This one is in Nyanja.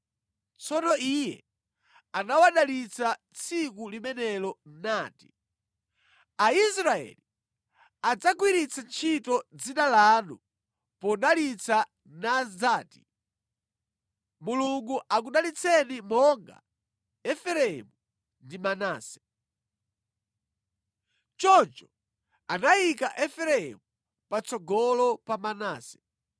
Tsono iye anawadalitsa tsiku limenelo nati, “Aisraeli adzagwiritsa ntchito dzina lanu podalitsa nadzati: Mulungu akudalitseni monga Efereimu ndi Manase.” Choncho anayika Efereimu patsogolo pa Manase.